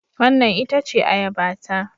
Wannan ita ce Ayabata